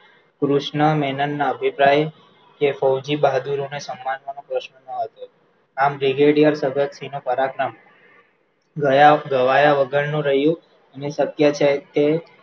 કૃષ્નમેહનના અભિપ્રાય કે બહાદુરને સન્માનવા નો હતો આમ પરાક્રમ ગવાય વગરનું રહયું અને શક્ય છે તે